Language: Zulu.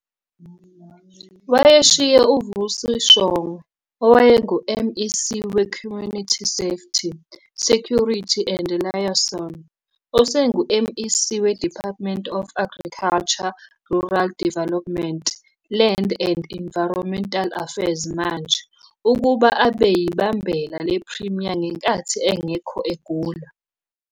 Wayeshiye uVusi Shongwe, owayengu MEC we Community Safety, Security and Liaison, osengu MEC we Department of Agriculture, Rural Development, Land and Environmental Affairs manje, ukuba abe yibambela le Premier ngenkathi engekho egula.